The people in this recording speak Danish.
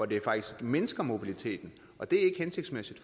det faktisk mindsker mobiliteten og det er ikke hensigtsmæssigt